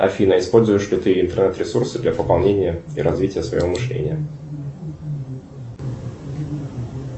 афина используешь ли ты интернет ресурсы для пополнения и развития своего мышления